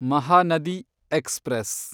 Mahanadi express